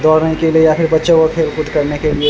दौरने के लिए या फिर बच्चो को खेल कूद करने के लिए --